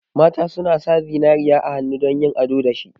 Mata suna sa zinariya a hannu dan yin ado dashi.